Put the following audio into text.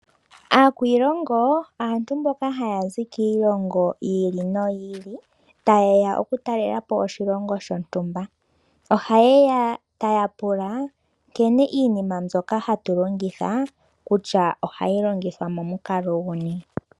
Aakwiilongo aantu mboka haya zi kiilongo yiili noyili tayeya okutalelapo oshilongo shontumba. Ohaye ya taya pula nkene iinima mbyoka hatu longitha kutya ohayi longithwa momukalo guni .